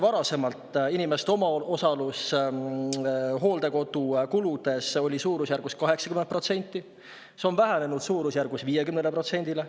Varasemalt oli inimeste omaosalus hooldekodukuludest suurusjärgus 80%, nüüd on see vähenenud umbes 50%-le.